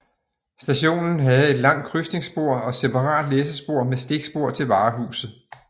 Stationen havde et langt krydsningsspor og separat læssespor med stikspor til varehuset